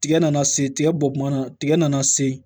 Tigɛ nana se tigɛ bɔ kuma na tigɛ nana se